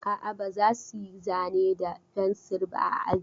A'a, ba za su yi zane da fensir ba a aji.